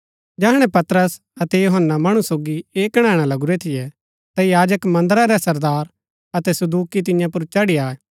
जैहणै पतरस अतै यूहन्‍ना मणु सोगी ऐह कणैणा लगुरा थियै ता याजक मन्दरा रै सरदार अतै सदूकि तियां पुर चढ़ी आये